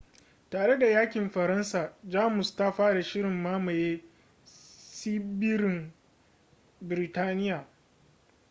tare da yakin faransa jamus ta fara shirin mamaye tsibirin biritaniya